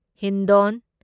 Hindon